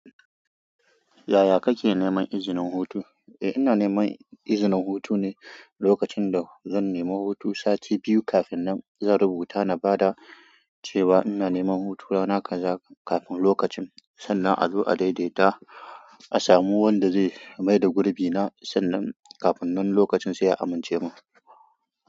Yaya kake neman izinin hutu? Eh ina neman izinin hutu ne, lokacin da zan nemi hutu sati biyu kafin nan, zan rubuta na ba da cewa ina neman hutu rana kaza kafin lokacin sannan a zo a daidaita a samu wanda zai mai da gurbi na sannan kafin nan lokacin sai a amince mun.